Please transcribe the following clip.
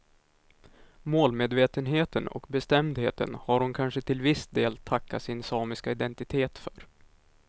Målmedvetenheten och bestämdheten har hon kanske till viss del tacka sin samiska identitet för.